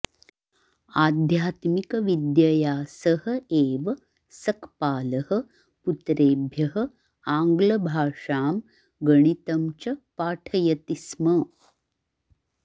आध्यात्मिकविद्यया सह एव सक्पालः पुत्रेभ्यः आङ्ग्लभाषां गणितं च पाठयति स्म